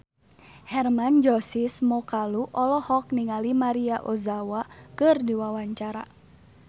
Hermann Josis Mokalu olohok ningali Maria Ozawa keur diwawancara